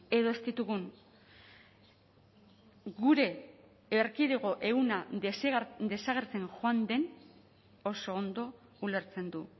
edo ez ditugun gure erkidego ehuna desagertzen joan den oso ondo ulertzen du